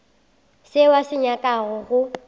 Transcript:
seo a se nyakago go